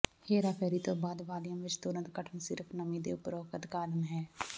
ਹੇਰਾਫੇਰੀ ਤੋਂ ਬਾਅਦ ਵਾਲੀਅਮ ਵਿਚ ਤੁਰੰਤ ਘਟਣ ਸਿਰਫ ਨਮੀ ਦੇ ਉਪਰੋਕਤ ਕਾਰਨ ਹੈ